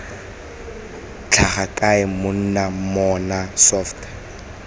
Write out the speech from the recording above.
tlhaga kae monna mmona soft